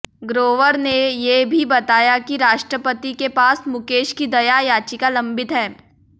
ग्रोवर ने ये भी बताया कि राष्ट्रपति के पास मुकेश की दया याचिका लंबित है